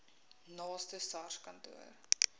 naaste sars kantoor